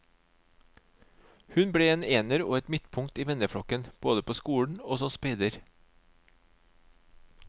Hun ble en ener og et midtpunkt i venneflokken, både på skolen og som speider.